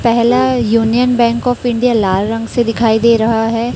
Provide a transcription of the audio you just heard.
पहला Union Bank of India लाल रंग से दिखाई दे रहा है।